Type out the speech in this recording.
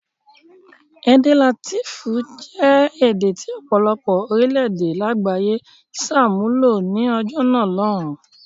Èdè Látíìnì jẹ́ èdè tí ọ̀pọ̀lọpọ̀ orílẹ̀-èdè lágbàáyé ṣàmúlò ní ọjọ́ náà lọ́hùn-ún.